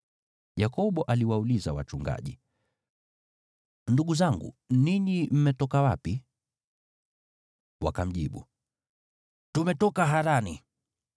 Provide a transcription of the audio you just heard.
Yakobo aliwauliza wachungaji, “Ndugu zangu, ninyi mmetoka wapi?” Wakamjibu, “Tumetoka Harani.”